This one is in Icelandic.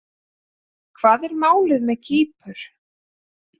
Hvað er málið með Kýpur?